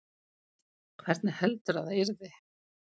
Hvernig heldurðu að það yrði?